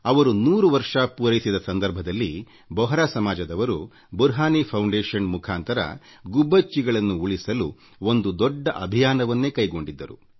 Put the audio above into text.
ಅವರು ನೂರು ವರ್ಷ ಪೂರೈಸಿದ ಸಂದರ್ಭದಲ್ಲಿ ಬೊಹರಾ ಸಮಾಜದವರು ಬುರ್ಹಾನಿ ಪ್ರತಿಷ್ಠಾನದ ಮುಖಾಂತರ ಗುಬ್ಬಚ್ಚಿಗಳನ್ನು ಉಳಿಸಲು ಒಂದು ದೊಡ್ಡ ಅಭಿಯಾನವನ್ನೇ ಕೈಗೊಂಡಿತ್ತು